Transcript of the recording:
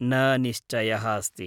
न निश्चयः अस्ति।